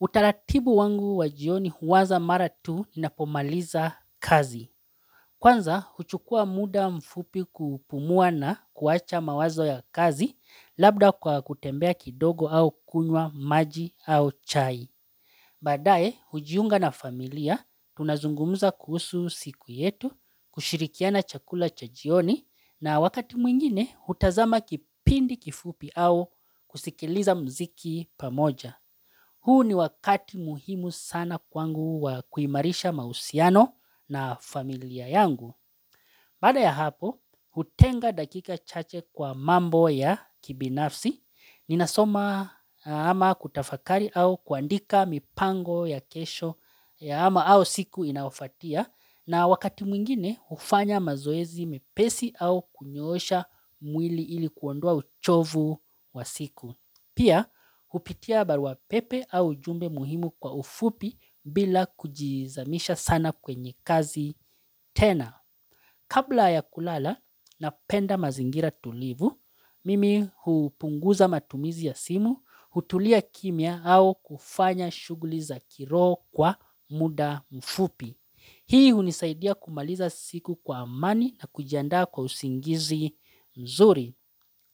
Utaratibu wangu wajioni huwaza maratu inapomaliza kazi. Kwanza, huchukua muda mfupi kupumua na kuwacha mawazo ya kazi, labda kwa kutembea kidogo au kunwa maji au chai. Baadae, hujiunga na familia, tunazungumza kuhusu siku yetu, kushirikiana chakula cha jioni, na wakati mwingine, utazama kipindi kifupi au kusikiliza mziki pamoja. Huu ni wakati muhimu sana kwangu wa kuimarisha mahusiano na familia yangu. Baada ya hapo, hutenga dakika chache kwa mambo ya kibinafsi. Ninasoma ama kutafakari au kuandika mipango ya kesho ya ama au siku inafatia. Na wakati mwingine, hufanya mazoezi mepesi au kunyoosha mwili ilikuondoa uchovu wa siku. Pia ujumbe muhimu kwa ufupi bila kujizamisha sana kwenye kazi tena kabla ya kulala na penda mazingira tulivu mimi hupunguza matumizi ya simu, hutulia kimya au kufanya shughuli za kiro kwa muda ufupi hii hunisaidia kumaliza siku kwa amani na kujandaa kwa usingizi mzuri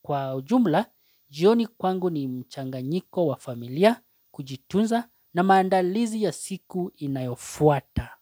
kwa ujumla jioni kwangu ni mchanganyiko wa familia kujitunza na maandalizi ya siku inayofuata.